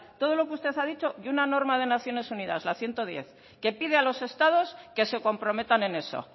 todo lo que usted ha dicho y una norma de naciones unidas la ciento diez que pide a los estados que se comprometan en eso